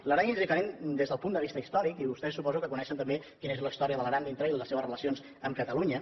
l’aran és diferent des del punt de vista històric i vostès suposo que coneixen també quina és la història de l’aran dintre i les seves relacions amb catalunya